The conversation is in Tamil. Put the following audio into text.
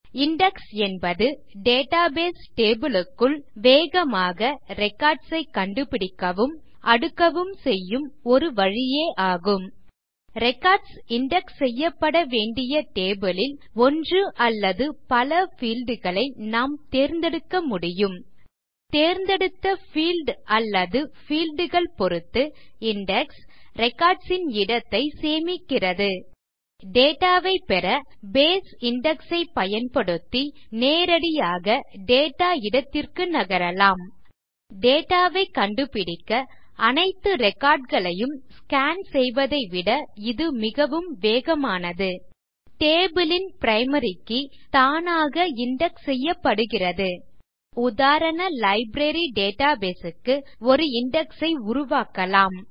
இண்டெக்ஸ் என்பது டேட்டாபேஸ் டேபிள் க்குள் வேகமாக ரெக்கார்ட்ஸ் ஐ கண்டுபிடிக்கவும் அடுக்கவும் செய்யும் ஒரு வழியே ஆகும் ரெக்கார்ட்ஸ் இண்டெக்ஸ் செய்யப்பட வேண்டிய டேபிள் லில் ஒன்று அல்லது பல பீல்ட் களை நாம் தேர்ந்தெடுக்க முடியும் நாம் தேர்ந்தெடுத்த பீல்ட் அல்லது பீல்ட் கள் பொருத்து இண்டெக்ஸ் ரெக்கார்ட்ஸ் ன் இடத்தை சேமிக்கிறது எனவே டேட்டா ஐ பெறBase இண்டெக்ஸ் ஐ பயன்படுத்தி நேரடியாக டேட்டா இடத்திற்கு நகரலாம் மேலும் டேட்டா ஐ கண்டுபிடுக்க அனைத்து recordகளையும் ஸ்கான் செய்வதை விட இது மிகவும் வேகமானது டேபிள் ன் பிரைமரி கே தானாக இண்டெக்ஸ் செய்யப்படுகிறது நம் உதாரண லைப்ரரி டேட்டாபேஸ் க்கு ஒரு இண்டெக்ஸ் ஐ உருவாக்கலாம்